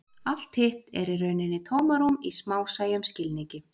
Allt hitt er í rauninni tómarúm í smásæjum skilningi.